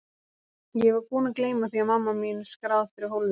Ég var búin að gleyma því að mamma mín er skráð fyrir hólfinu.